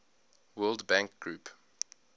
world bank group